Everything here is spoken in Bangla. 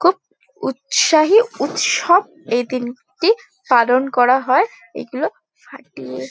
খুব উৎসাহী উৎসব এদিনটি পালন করা হয় এগুলো ফাটিয়ে।